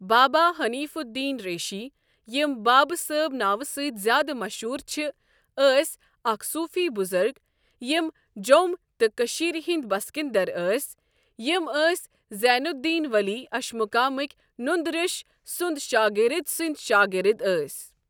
بابا حنیٖف الدیٖن رِیٖشی یِمہٕ بابہٕ صٲب ناوٕ سٕتی زیٛادٕ مَشہوٗر چھِ ٲسی اَکھ صوٗفی بُزرگ یمہٕ جوٚم تہٕ کٔشیٖر ہِنٛدی بٔسکِنٛدَر ٲسی یمہٕ ٲسی زینُ الدیٖن ؤلی اَشمُقامٕکی نُنٛدٕ ریٛۆش سُنٛد شاگرد سٔنٛدی شاگرد أسی۔